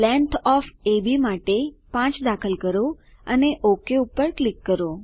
length O F માટે 5 દાખલ કરો અને ઓક પર ક્લિક કરો